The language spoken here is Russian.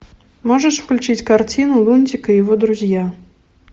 можешь включить картину лунтик и его друзья